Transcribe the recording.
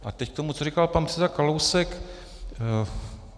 A teď k tomu, co říkal pan předseda Kalousek.